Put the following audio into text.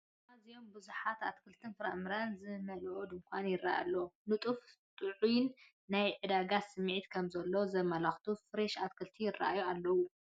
ኣዝዩም ብብዝሕንኣትክልትን ፍረ ምረን ዝመልአ ዱንኳን ይረአ ኣሎ፡፡ ንጡፍን ጥዑይን ናይ ዕዳጋ ስምዒት ከም ዘሎ ዘመላኽቱ ፍሬሽ ኣትክልቲ ይረኣዩ ኣለው፡፡